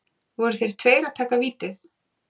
Voru þeir tveir að taka vítið?